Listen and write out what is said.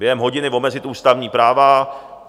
Během hodiny omezit ústavní práva.